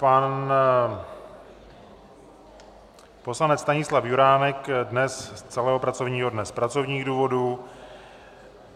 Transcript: Pan poslanec Stanislav Juránek dnes z celého pracovního dne z pracovních důvodů.